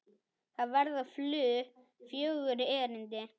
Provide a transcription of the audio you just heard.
Þar verða flutt fjögur erindi.